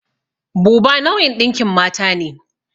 Buba nau'in ɗinkin mata ne.